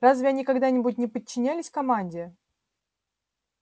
разве они когда-нибудь не подчинялись команде